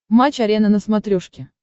матч арена на смотрешке